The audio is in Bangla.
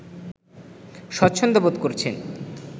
স্বচ্ছন্দ বোধ করছেন